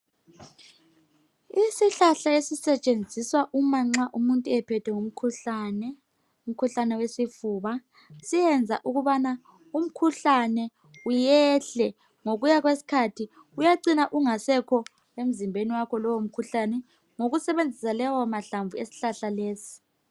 Isihlahla esisetshenziswa uma nxa umuntu ephethwe ngumkhuhlane, umkhuhlane wesifuba siyenza ukubana umkhuhlane uyehle ngokuyakwesikhathi uyacina ungasekho emzimbeni wakho lowo mkhuhlane ngokusebenzisa lewo mahlamvu eshlahla lesi.